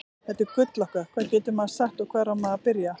Þetta gull okkar, hvað getur maður sagt og hvar á maður að byrja?